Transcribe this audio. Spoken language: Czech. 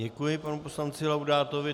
Děkuji panu poslanci Laudátovi.